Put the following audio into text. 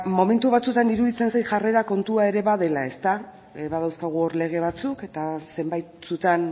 momentu batzuetan iruditzen zait jarrera kontua ere badela ezta badauzkagu hor lege batzuk eta zenbaitzutan